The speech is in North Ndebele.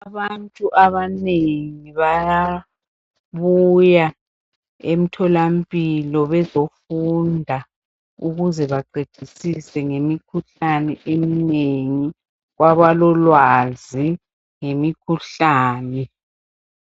abantu abanengi bayabuya emtholampilo bezofunda ukuze baqedisise ngemikhuhlane eminengi kwabalolwazi ngemikhuhlane